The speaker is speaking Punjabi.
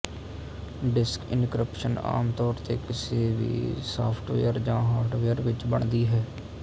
ਡਿਸਕ ਇਨਕ੍ਰਿਪਸ਼ਨ ਆਮ ਤੌਰ ਤੇ ਕਿਸੇ ਵੀ ਸਾੱਫਟਵੇਅਰ ਜਾਂ ਹਾਰਡਵੇਅਰ ਵਿੱਚ ਬਣਦੀ ਹੈ